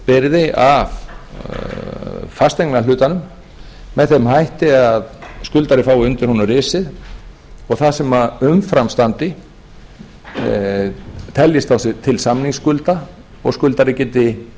greiðslubyrði af fasteignahlutanum með þeim hætti að skuldari fái undir honum risið og það sem umfram standi teljist til samningsskulda og skuldari geti